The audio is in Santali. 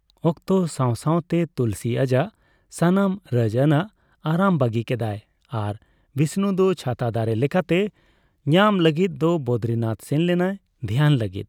ᱚᱠᱛᱚ ᱥᱟᱣ ᱥᱟᱣᱛᱮ ᱛᱩᱞᱥᱤ ᱟᱡᱟᱜ ᱥᱟᱱᱟᱢ ᱨᱟᱡᱽᱟᱱᱟᱜ ᱟᱨᱟᱢ ᱵᱟᱹᱜᱤ ᱠᱮᱫᱟᱭ ᱟᱨ ᱵᱤᱥᱱᱩ ᱫᱚ ᱪᱷᱟᱛᱟ ᱫᱟᱨᱮ ᱞᱮᱠᱟᱛᱮ ᱧᱟᱢ ᱞᱟᱹᱜᱤᱫ ᱫᱚ ᱵᱚᱫᱨᱤᱱᱟᱛᱷ ᱥᱮᱱ ᱞᱮᱱᱟᱭ ᱫᱷᱮᱭᱟᱱ ᱞᱟᱹᱜᱤᱫ ᱾